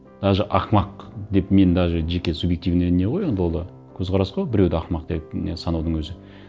даже ақымақ деп мен даже жеке субъективный не ғой енді ол да көзқарас қой біреуді ақымақ деп не санаудың өзі